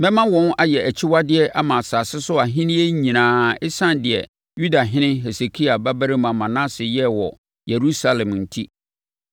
Mɛma wɔn ayɛ akyiwadeɛ ama asase so ahennie nyinaa ɛsiane deɛ Yudahene Hesekia babarima Manase yɛɛ wɔ Yerusalem enti.